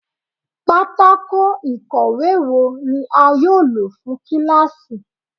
Pátáko ikòwe wo ni a yoo lo fun kilasi?